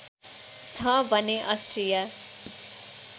छ भने अस्ट्रिया